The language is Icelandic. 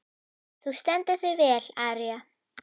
Þú stendur þig vel, Aría!